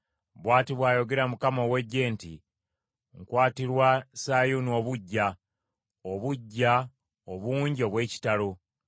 Bw’ati bw’ayogera Mukama ow’Eggye nti, “Nkwatirwa Sayuuni obuggya, obuggya obungi obw’ekitalo.”